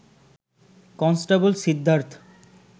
constable Siddharth